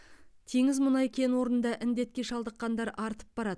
теңіз мұнай кен орнында індетке шалдыққандар артып барады